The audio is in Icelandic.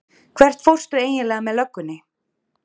Hvert fórstu eiginlega með löggunni?